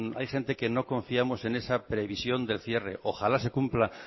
hay gente que no confiamos en esa previsión del cierre ojalá se cumpla